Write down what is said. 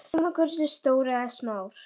Sama hversu stór eða smár.